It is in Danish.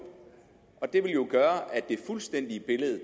det vil jo gøre at det fuldstændige billede af